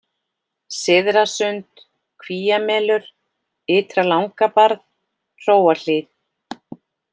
Syðrasund, Kvíamelur, Ytra-Langabarð, Hróahlíð